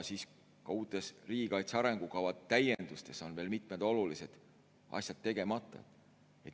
Ka uutes riigikaitse arengukava täiendustes on veel mitmed olulised asjad tegemata.